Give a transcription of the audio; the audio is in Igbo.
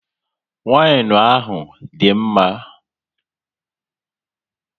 Wainu ahụ dị mma